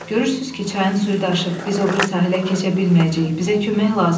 Görürsünüz ki, çayın suyu daşıb, biz o biri sahilə keçə bilməyəcəyik, bizə kömək lazımdır.